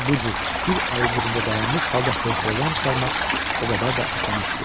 onu bu cür bir əli cibində dayanmış halda hövsələdən çıxarmaq o qədər də asan iş deyil.